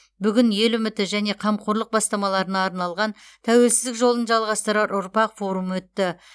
бүгін ел үміті және қамқорлық бастамаларына арналған тәуелсіздік жолын жалғастырар ұрпақ форумы өтті